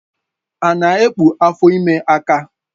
Ana ekpu afọ ime aka?